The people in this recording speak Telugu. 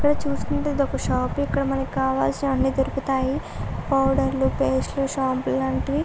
ఇక్కడ చూసినట్టైతే ఇదొక షాప్ .ఇక్కడ మనకి కావాల్సినవన్నీ దొరుకుతాయి. పోవెడెర్ పేస్ట్ షాంపూ లాంటివి --